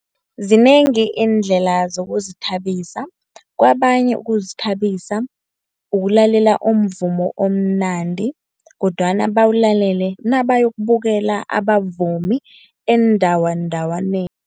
Zinengi iindlela zokuzithabisa, kabanye ukuzithabisa ukulalela umvumo omnandi kodwana bawulalele nabayokubukela abavumi eendawandawaneni.